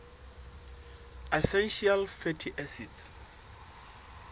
essential fatty acids